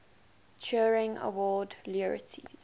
turing award laureates